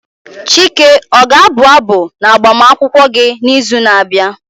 Chike o ga abụ abụ na agbamakwụkwọ gị n'izu na-abịa?